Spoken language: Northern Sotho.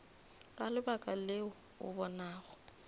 ka lebaka leo o bonago